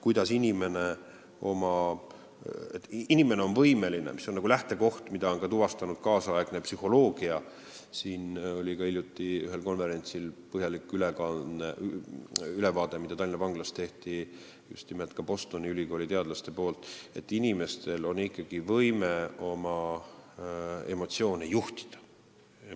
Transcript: Lähtekoht on ja seda on tuvastanud ka kaasaegne psühholoogia – hiljuti oli ühel konverentsil Tallinna vanglas põhjalik Bostoni ülikooli teadlaste ülevaade –, et inimestel on ikkagi võime oma emotsioone juhtida.